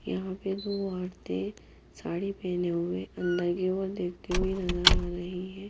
यहां पे दो ओरते साड़ी पहने हुए अंदर की ओर देखते हुए नजर आ रही है।